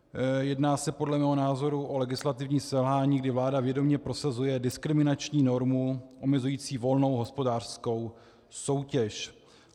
Jedná se podle mého názoru o legislativní selhání, kdy vláda vědomě prosazuje diskriminační normu omezující volnou hospodářskou soutěž.